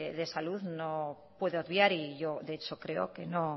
de salud no puede obviar y yo de hecho creo que no